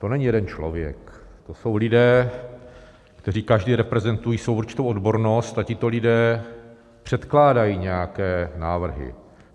To není jeden člověk, to jsou lidé, kteří každý reprezentují svou určitou odbornost, a tito lidé předkládají nějaké návrhy.